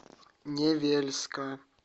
невельска